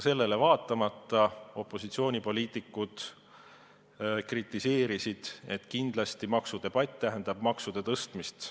Sellele vaatamata opositsioonipoliitikud kritiseerisid, et maksudebatt tähendab muidugi maksude tõstmist.